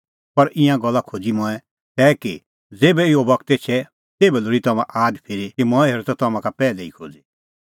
पर ईंयां गल्ला खोज़ी मंऐं तै कि ज़ेभै इहअ बगत एछे तेभै लोल़ी तम्हां आद फिरी कि मंऐं हेरअ त तम्हां का पैहलै ई खोज़ी शुरू दी निं मंऐं तम्हां का ईंयां गल्ला एते तैणीं खोज़ी कि हुंह त आप्पै तम्हां संघै